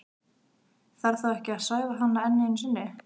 Þarf þá ekki að svæfa hana enn einu sinni?